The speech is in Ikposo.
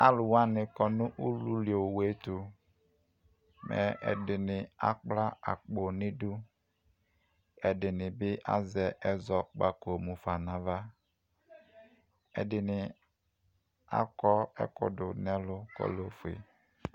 Alʋ wani kɔnʋ ʋlʋli owʋetʋ mɛ ɛdini akpla akpo nʋ idʋ ɛdini bi azɛ ezɔkpako mʋfa nʋ ava ɛdini akɔ ɛkʋ dunu ɛlʋ kɔlɛ ofue